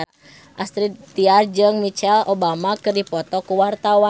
Astrid Tiar jeung Michelle Obama keur dipoto ku wartawan